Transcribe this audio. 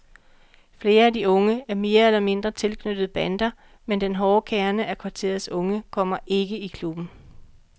Flere af de unge er mere eller mindre tilknyttet bander, men den hårde kerne af kvarterets unge kommer ikke i klubben.